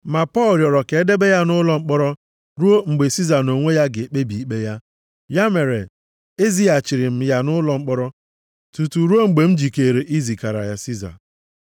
Ma Pọl rịọrọ ka e debe ya nʼụlọ mkpọrọ ruo mgbe Siza nʼonwe ya ga-ekpebi ikpe ya. Ya mere, ezighachiri m ya nʼụlọ mkpọrọ tutu ruo mgbe m jikeere izigara ya Siza.”